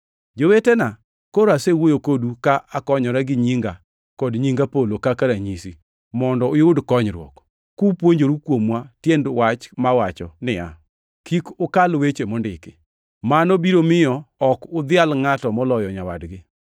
Jowetena, koro asewuoyo kodu ka akonyora gi nyinga kod nying Apolo kaka ranyisi mondo uyud konyruok, kupuonjoru kuomwa tiend wach mawacho niya, “Kik ukal weche mondiki.” Mano biro miyo ok udhial ngʼato moloyo nyawadgi.